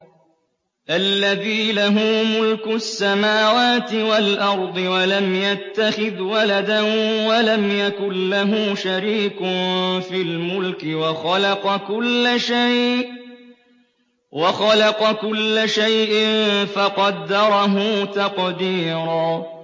الَّذِي لَهُ مُلْكُ السَّمَاوَاتِ وَالْأَرْضِ وَلَمْ يَتَّخِذْ وَلَدًا وَلَمْ يَكُن لَّهُ شَرِيكٌ فِي الْمُلْكِ وَخَلَقَ كُلَّ شَيْءٍ فَقَدَّرَهُ تَقْدِيرًا